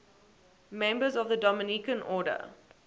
members of the dominican order